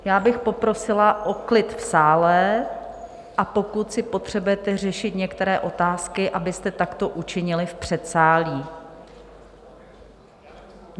Já bych poprosila o klid v sále, a pokud si potřebujete řešit některé otázky, abyste takto učinili v předsálí.